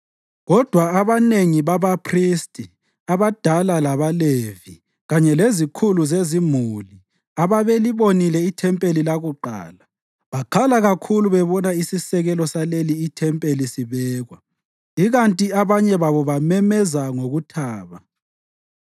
Kodwa abanengi babaphristi abadala labaLevi kanye lezikhulu zezimuli ababelibonile ithempeli lakuqala, bakhala kakhulu bebona isisekelo saleli ithempeli sibekwa, ikanti abanye babo bamemeza ngokuthaba.